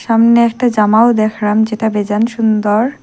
সামনে একটা জামাও দেখরাম যেটা বেজান সুন্দর।